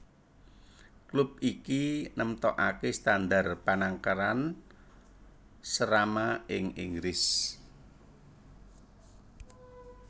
Klub iki nemtokaké standar panangkaran Serama ing Inggris